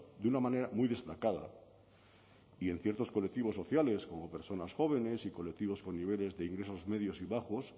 de una manera muy destacada y en ciertos colectivos sociales como personas jóvenes y colectivos con niveles de ingresos medios y bajos